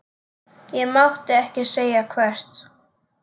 Ég mátti ekki segja hvert.